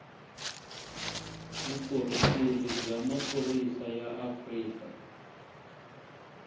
vukorhokeri bya maphorisa ya afrika